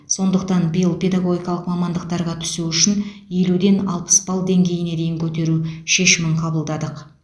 сондықтан биыл педагогикалық мамандықтарға түсу үшін елуден алпыс балл деңгейіне дейін көтеру шешімін қабылдадық